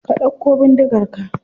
Ka dauko bindigar ka.